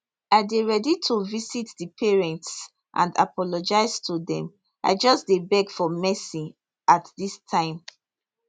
i dey ready to visit di parents and apologise to dem i just dey beg for mercy at dis time